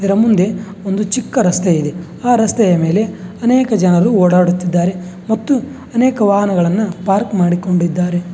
ಇದರ ಮುಂದೆ ಒಂದು ಚಿಕ್ಕ ರಸ್ತೆ ಇದೆ ಆ ರಸ್ತೆಯ ಮೇಲೆ ಅನೇಕ ಜನರು ಓಡಾಡುತ್ತಿದ್ದಾರೆ ಮತ್ತು ಅನೇಕ ವಾಹನಗಳನ್ನು ಪಾರ್ಕ್ ಮಾಡಿಕೊಂಡಿದ್ದಾರೆ.